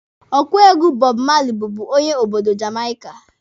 Ọkụ egwu Bob Marley bụbu onye obodo Jamaika.